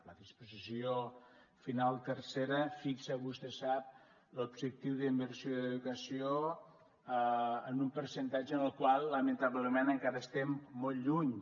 la disposició final tercera fixa vostè sap l’objectiu d’inversió d’educació en un percentatge en el qual lamentablement encara estem molt lluny